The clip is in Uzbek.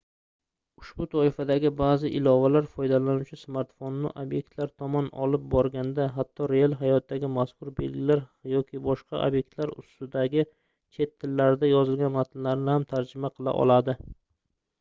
ushbu toifadagi baʼzi ilovalar foydalanuvchi smartfonini obyektlar tomon olib borganda hatto real hayotdagi mazkur belgilar yoki boshqa obyektlar ustidagi chet tillarida yozilgan matnlarni ham tarjima qila oladi